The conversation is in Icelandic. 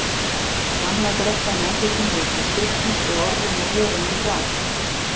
Gamla grettan í andlitinu virtist stirðnuð og orðin á vörunum rám.